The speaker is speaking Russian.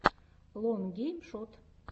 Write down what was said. лон гейм шот